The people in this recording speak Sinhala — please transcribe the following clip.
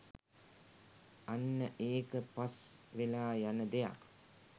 අන්න ඒක පස් වෙලා යන දෙයක්